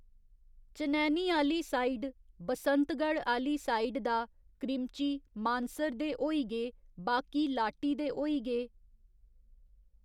चनैनी आहली साइड, बसंतगढ़ आहली साइड दा, क्रिमची, मानसर दे होई गे, बाकी लाटी दे होई गे।